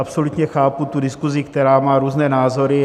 Absolutně chápu tu diskuzi, která má různé názory.